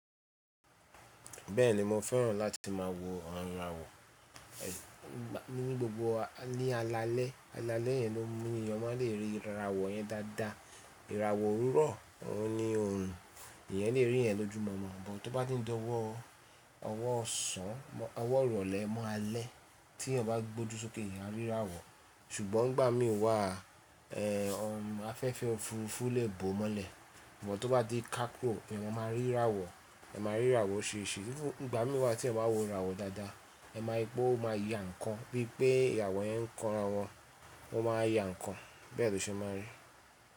Bẹ́ẹ̀ni mo fẹ́ràn láti máa wo awon ìràwọ̀. Ní gbogbo ní alalẹ́, alalẹ́ yẹn ni ènìyàn má lè rí ìràwọ̀ yẹn dáadáa. Ìràwọ̀ òwúrọ̀ òun ni òorun, ẹ̀eyan lè rí yẹ̀n lójúmọ́mo but tó bá ti n di dọ́wọ́ ọwọ́ ọ̀sán, ọwọ́ ìrọ̀lẹ́ máa alẹ́ tí ẹ̀eyan bá gbójú sókè eeyan a rí ràwọ̀. Ṣùgbọ́n ni gbà mí wá a, ọ̀run afẹ́fẹ́ òfurufú lè bòo mọ́lẹ̀. But tó bá ti kákò eeyan máa rí ìràwọ̀, ẹ máa rí ìràwọ̀ o ṣeéṣe. Ní igbà mí wá tí ẹyan bá n wo ìràwọ̀ dáadáa, ẹ máa rí pé ó máa ya nǹkan bí i pé ìràwó yẹn ń kọn ara wọn, wọ́n máa ya nǹkan bẹ́ẹ̀ lo ṣe máa n rí.